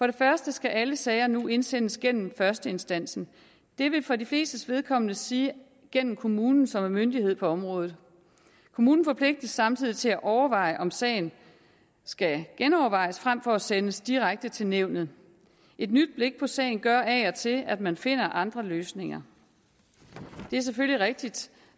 det første skal alle sager nu indsendes gennem førsteinstansen det vil for de flestes vedkommende sige gennem kommunen som er myndighed på området kommunen forpligtes samtidig til at overveje om sagen skal genovervejes frem for at sendes direkte til nævnet et nyt blik på sagen gør af og til at man finder andre løsninger det er selvfølgelig rigtigt